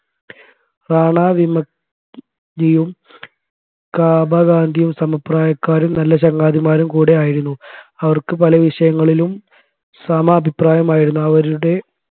റാണ വിമുക്തിയും കാബ ഗാന്ധിയും സമപ്രായക്കാരും നല്ല ചങ്ങാതിമാരും കൂടെ ആയിരുന്നു അവർക്ക് പലവിഷയങ്ങളിലും സമ അഭിപ്രായമായിരുന്നു അവരുടെ